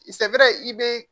I sabɛɛ i be